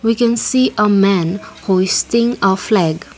we can see a man hoisting a flag.